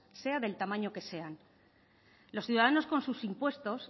sea del tamaño que sean los ciudadanos con sus impuestos